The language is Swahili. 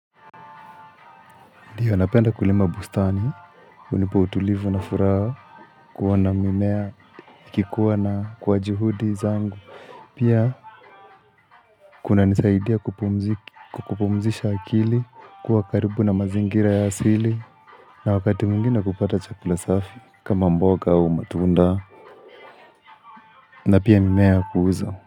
Ndiyo anapenda kulima bustani, hunipa utulivu na furaha kuwa na mimmea ikikuwa na kwa juhudi zangu. Pia kuna nisaidia kumpu kupumzisha akili, kuwa karibu na mazingira ya asili, na wakati mwingine kupata chakula safi, kama mboga au matunda, na pia mimea ya kuuza.